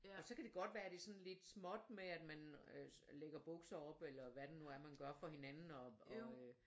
Og så kan det godt være det er sådan lidt småt med at man lægger bukser op eller hvad det nu er man gør for hinanden og øh